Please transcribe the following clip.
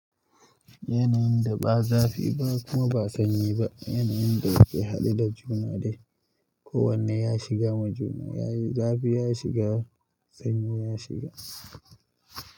Yanayin da ba zafi ba kuma ba sanyi ba, yanayin da yake haɗe da juna dai. Ko wanne ya shiga majuna yayi zafi ya shiga sanyi ya shiga.